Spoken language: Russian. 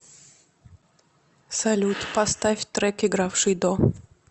салют поставь трек игравший до